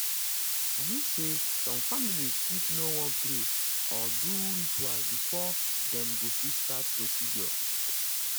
i mean say some families fit you know wan pray or do ritual before before dem go fit start procedure.